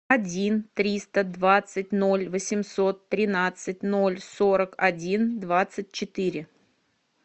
один триста двадцать ноль восемьсот тринадцать ноль сорок один двадцать четыре